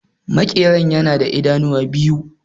Makeran yana da idanu biyu